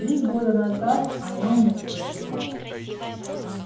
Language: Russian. три года назад о нём никто не знал